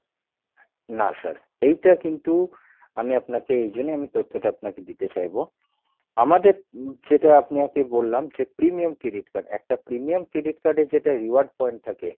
না sir এইটা কিন্তু আমি আপনাকে এই জন্যে আমি তথ্য টা আপনাকে দিতে চাইবো আমাদের যেটা আপনাকে বললাম যে premium credit card একটা premium credit card এ যেটা reward point থাকে